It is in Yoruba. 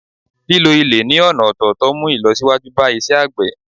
lílo ilè ni ọna ọ̀tọ̀tọ̀ mu ìlọsíwájú ba isé àgbè